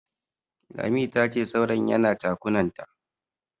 Lami tace saurayin yana chakunanta.